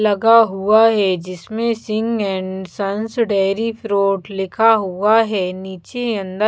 लगा हुआ है जिसमें Singh and sons dairy fruit लिखा हुआ है नीचे अन्दर--